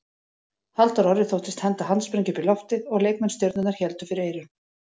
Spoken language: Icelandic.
Halldór Orri þóttist henda handsprengju upp í loftið og leikmenn Stjörnunnar héldu fyrir eyrun.